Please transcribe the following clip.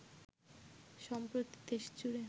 সম্প্রতি দেশজুড়ে